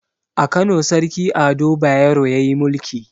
A kano sarki ado bayero yayi mulki